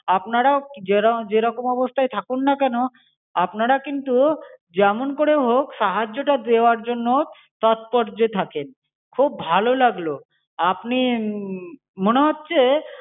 আপনারাও যেরকম অবস্থায় থাকুন না কেন, আপনারা কিন্তু যেমন করেই হোক সাহায্যটা দেয়ার জন্য তৎপর্যে থাকেন। খুব ভালো লাগলো আপনি মনে হচ্ছে,